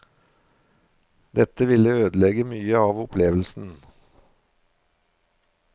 Dette ville ødelegge mye av opplevelsen.